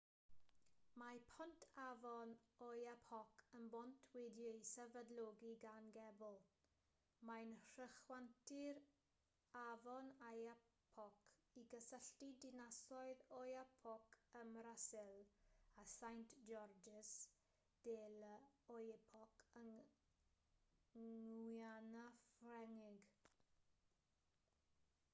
mae pont afon oyapock yn bont wedi'i sefydlogi gan gebl mae'n rhychwantu'r afon oyapock i gysylltu dinasoedd oiapoque ym mrasil â saint-georges de l'oyapock yng nguiana ffrengig